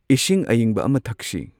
ꯏꯁꯤꯡ ꯑꯏꯪꯕ ꯑꯃ ꯊꯛꯁꯤ꯫